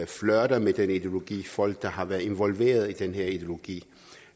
flirter med den ideologi folk der har været involveret i den her ideologi